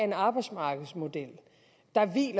af arbejdsmarkedet